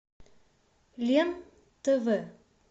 лен тв